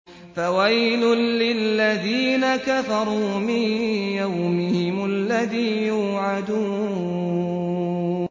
فَوَيْلٌ لِّلَّذِينَ كَفَرُوا مِن يَوْمِهِمُ الَّذِي يُوعَدُونَ